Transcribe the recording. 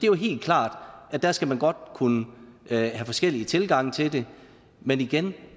jo helt klart at der skal man kunne have forskellige tilgange til det men igen